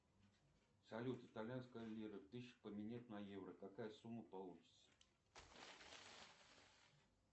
салют итальянская лира тысячу поменять на евро какая сумма получится